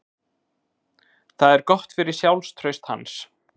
Það er gott fyrir sjálfstraust hans.